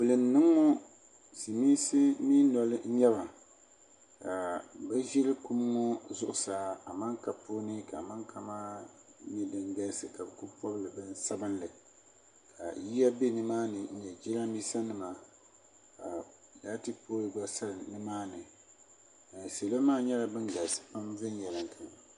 Kuli n boŋɔ silmiinsi mii noli n nyɛba ka bi ʒiri kum ŋo zuɣusaa amanka puuni ka amanka maa nyɛ din galisi ka bi ku pobili bin sabinli ka yiya bɛ nimaani ni jiranbiisa nima ka laati poll gba galisi nimaani salo maa nyɛla ban galisi pam viɛnyɛlinga